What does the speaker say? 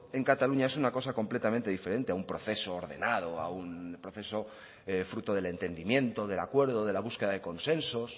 en cataluña es una cosa completamente diferente a un proceso ordenado a un proceso fruto del entendimiento del acuerdo de la búsqueda de consensos